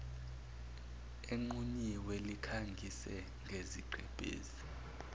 enqunyiwe likhangise ngesigqebhezi